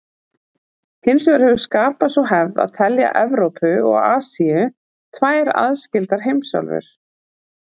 Hins vegar hefur skapast sú hefð að telja Evrópu og Asíu tvær aðskildar heimsálfur.